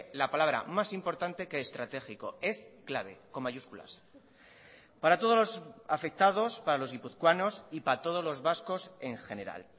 la palabra más importante que estratégico es clave con mayúsculas para todos los afectados para los guipuzcoanos y para todos los vascos en general